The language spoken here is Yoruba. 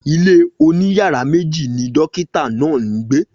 Ilé oní yàrá méjì ni dokita náà ń gbe